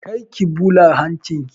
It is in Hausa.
Kar ki ɓula hancin ki!